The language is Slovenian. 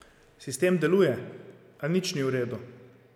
Sistem deluje, a nič ni v redu.